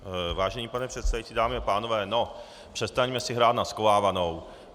Vážený pane předsedající, dámy a pánové, no, přestaňme si hrát na schovávanou.